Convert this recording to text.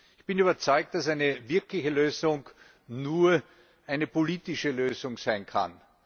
Ich bin überzeugt, dass eine wirkliche Lösung nur eine politische Lösung sein kann.